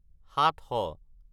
সাতশ